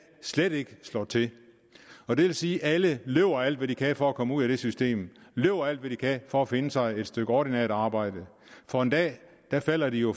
slet ikke slår til og det vil sige at alle løber alt hvad de kan for at komme ud af det system løber alt hvad de kan for at finde sig et stykke ordinært arbejde for en dag falder de jo